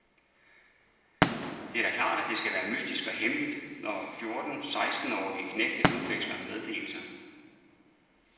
Det er da klart, at det skal være mystisk og hemmeligt, når fjorten sekstenårige knægte udveksler meddelelser.